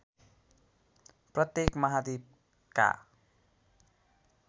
प्रत्येक महाद्वीपका